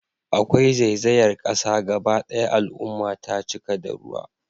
Akwai zaizayar kasa gaba daya al'umma ta cika da ruwa